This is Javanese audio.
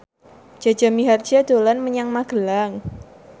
Jaja Mihardja dolan menyang Magelang